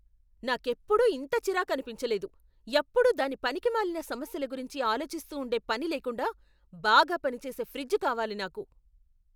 నాకెప్పుడూ ఇంత చిరాకనిపించలేదు. ఎప్పుడూ దాని పనికిమాలిన సమస్యల గురించి ఆలోచిస్తూ ఉండే పని లేకుండా బాగా పనిచేసే ఫ్రిజ్ కావాలి నాకు!